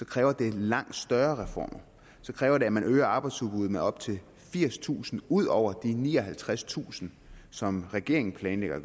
kræver det langt større reformer så kræver det at man øger arbejdsudbuddet med op til firstusind ud over de nioghalvtredstusind som regeringen planlægger at